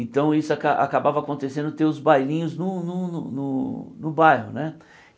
Então isso aca acabava acontecendo, ter os bailinhos no no no no bairro, né?